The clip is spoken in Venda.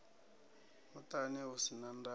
muṱani u si na ndayo